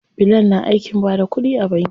Bilal na aikin bada kuɗi a banki.